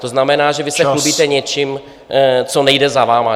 To znamená, že vy se chlubíte něčím, co nejde za vámi.